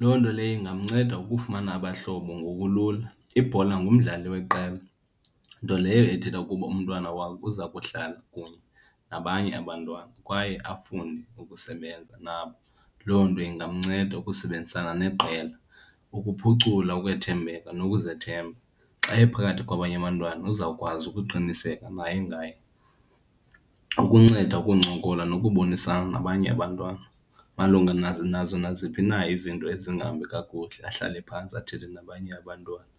Loo nto leyo ingamnceda ukufumana abahlobo ngokulula. Ibhola ngumdlali weqela, nto leyo ethetha ukuba umntwana wakho uza kuhlala kunye nabanye abantwana kwaye afunde ukusebenza nabo. Loo nto ingamnceda ukusebenzisana neqela, ukuphucula okwethembeka nokuzethemba. Xa ephakathi kwabanye abantwana uzawukwazi ukuqiniseka naye ngaye. Ukunceda ukuncokola nokubonisana nabanye abantwana malunga nazo naziphi na izinto ezingahambi kakuhle, ahlale phantsi athethe nabanye abantwana.